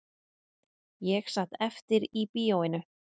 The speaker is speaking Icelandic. Ég sat eftir í bíóinu